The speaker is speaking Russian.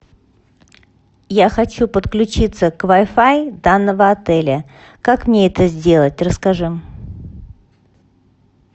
я хочу подключиться к вай фай данного отеля как мне это сделать расскажи